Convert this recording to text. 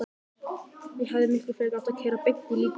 Ég hefði miklu frekar átt að keyra beint í líkhúsið.